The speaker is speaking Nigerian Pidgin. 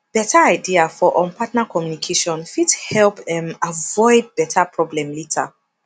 beta idea for um partner communication fit help um avoid beta problem later